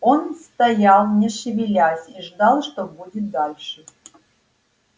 он стоял не шевелясь и ждал что будет дальше